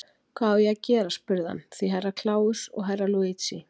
Hvað á ég að gera spurði hann því Herra Kláus og Herra Luigi.